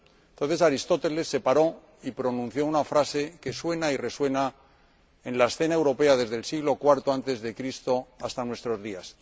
Entonces Aristóteles se paró y pronunció una frase que suena y resuena en la escena europea desde el siglo IV antes de Cristo hasta nuestros días.